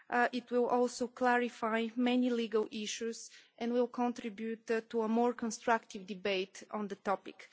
It will also clarify many legal issues and will contribute to a more constructive debate on the topic.